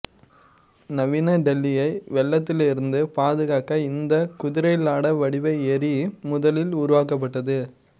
நவீன டெல்லியை வெள்ளத்திலிருந்து பாதுகாக்க இந்த குதிரைலாட வடிவ ஏரி முதலில் உருவாக்கப்பட்டது